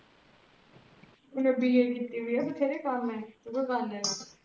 ਊਣੇ B A ਕੀਤੀ ਵੀ ਹੈ ਬਥੇਰੇ ਕਮਮ